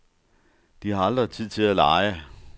De har aldrig tid til at lege.